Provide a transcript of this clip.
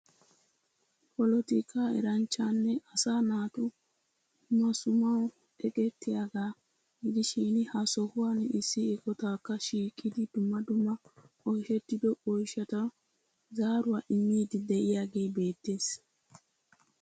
Polotika eranchchanne asaa naatu maassumaw eqqettiyaaga gidishin ha sohuwan issi eqotakka shiiqidi dumma dumma oyshshettido oyshshaw zaaruwaa immidi de'iyooge beettees